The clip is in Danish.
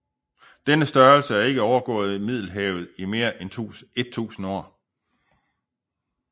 Denne størrelse blev ikke overgået i Middelhavet i mere end et tusind år